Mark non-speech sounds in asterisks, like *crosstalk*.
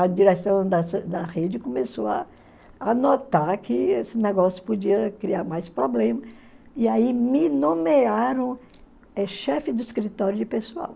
a direção da *unintelligible* da rede começou a notar que esse negócio podia criar mais problema e aí me nomearam chefe do escritório de pessoal.